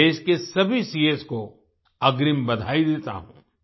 मैं देश के सभी सीएस को अग्रिम बधाई देता हूँ